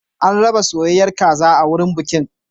An raba soyayyar kaza a wurin bikin.